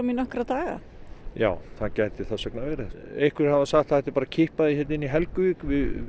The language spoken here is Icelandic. í nokkra daga já það gæti þess vegna verið einhverjir hafa sagt að það ætti að kippa því hérna inn í Helguvík